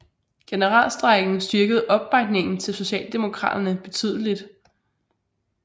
Generalstrejken styrkede opbakningen til socialdemokraterne betydeligt